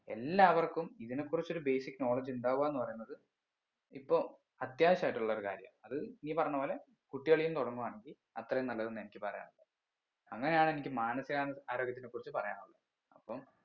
എല്ലാവർക്കും ഇതിനെ കുറിച്ചൊരു basic knowledge ഉണ്ടാവാന്ന് പറയുന്നത് ഇപ്പൊ അത്യാവശ്യമായിട്ടുള്ളൊരു കാര്യ അത് ഈ പറഞ്ഞ പോലെ കുട്ടികളിന്ന് തുടങ്ങുവാണെങ്കി അത്രയും നല്ലത് ന്നാ എനിക്ക് പറയാനുള്ളെ അങ്ങനെയാണ് എനിക്ക് മാനസികാന് ആരോഗ്യത്തിനെ കുറിച്ച് പറയാനുള്ളെ അപ്പം